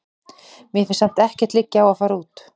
Mér finnst samt ekkert liggja á að fara út.